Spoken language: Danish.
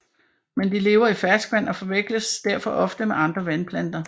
Men de lever i ferskvand og forveksles derfor oftest med andre vandplanter